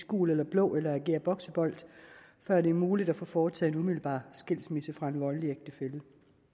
gul eller blå eller agere boksebold før det er muligt at få foretaget en umiddelbar skilsmisse fra en voldelig ægtefælle